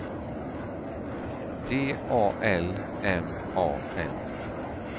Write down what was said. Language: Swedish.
T A L M A N